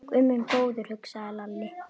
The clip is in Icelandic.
Guð minn góður, hugsaði Lalli.